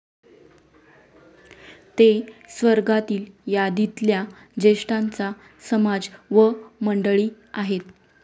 ते स्वर्गातील यादीतल्या ज्येष्ठांचा समाज व मंडळी आहेत.